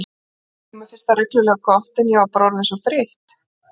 Jú, mér fannst það reglulega gott, en ég var bara orðin svo þreytt.